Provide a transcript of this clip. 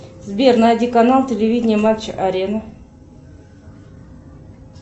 сбер найди канал телевидение матч арена